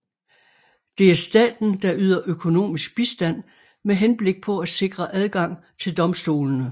Det er staten der yder økonomisk bistand med henblik på at sikre adgang til domstolene